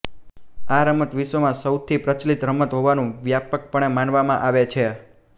આ રમત વિશ્વમાં સૌથી પ્રચલિત રમત હોવાનું વ્યાપકપણે માનવામાં આવે છે